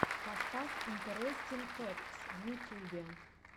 поставь интерестин фэктс в ютюбе